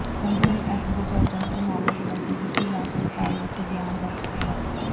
ਸੰਧੂ ਨੇ ਅੱਗ ਬੁਝਾਊ ਯੰਤਰ ਮਾਮਲੇ ਸਬੰਧੀ ਵਿਜੀਲੈਂਸ ਵਿਭਾਗ ਵਿਖੇ ਬਿਆਨ ਦਰਜ ਕਰਵਾਏ